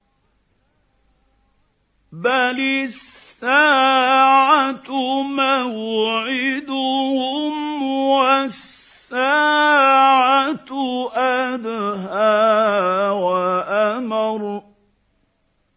بَلِ السَّاعَةُ مَوْعِدُهُمْ وَالسَّاعَةُ أَدْهَىٰ وَأَمَرُّ